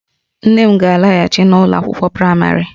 Nne m ga-alaghachi n'ụlọ akwụkwọ praịmarị